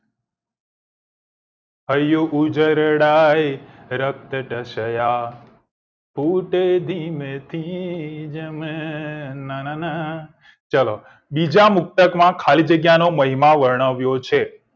હૈયું ઉજરડાય રક્ત દ્શ્યા દુત્ત ધીમે થી જામે નાનાના ચલો બીજા મુક્તક માં ખાલી જગ્યા નો મહિમા વર્ણવ્યો છે